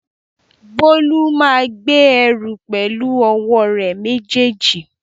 Bólú máa gbé ẹrù pẹ̀lú ọwọ́ rẹ̀ méjèèjì